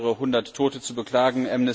Wir haben mehrere Hundert Tote zu beklagen.